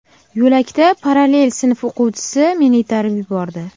Yo‘lakda parallel sinf o‘quvchisi meni itarib yubordi.